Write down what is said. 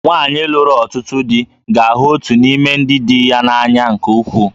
Nwanyị lụrụ ọtụtụ di ga-ahụ otu n'ime ndị di ya n'anya nke ukwuu